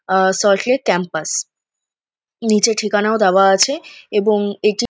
আহ Salt Lake campus. নীচে ঠিকানাও দেওয়া আছে এবং এটি--